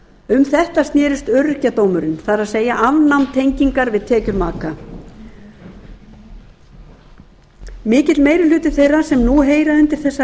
um þetta snerist öryrkjadómurinn það er afnám tengingar við tekjur maka mikill meiri hluti þeirra sem nú heyra undir þessa